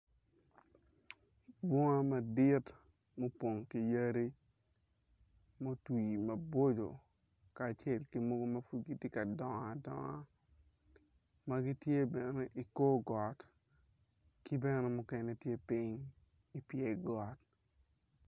Bunga madit ma opong ki yadi ma otwi maboco kacel ki mogo ma pud gitye ka dongo adonga ma gitye bene ikor got ki bene mukene tye piny ipyer got.